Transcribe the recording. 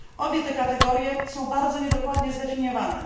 Obie te kategorie są bardzo niedokładnie zdefiniowane.